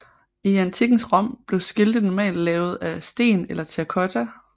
I antikkens Rom blev skilte normalt lavet af sten eller terrakotta